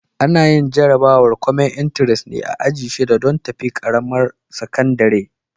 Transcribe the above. Ana yin jarabawar kwamen intares ne a aji shida don tafi ƙaramar sakandire.